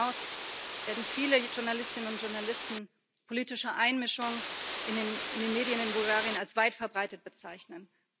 Darüber hinaus werden viele Journalistinnen und Journalisten politische Einmischung in den Medien in Bulgarien als weit verbreitet bezeichnen.